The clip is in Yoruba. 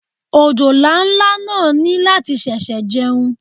Òjòlá ńlá náà ní láti ṣẹ̀ṣẹ̀ jẹun.